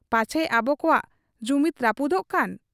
ᱯᱟᱪᱷᱮ ᱟᱵᱚ ᱠᱚᱣᱟᱜ ᱡᱩᱢᱤᱫᱽ ᱨᱟᱹᱯᱩᱫᱚᱜ ᱠᱟᱱ ?